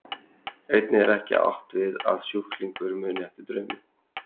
Einnig er ekki átt við að sjúklingur muni eftir draumum.